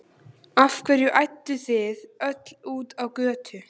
Af hverju ædduð þið öll út á götu?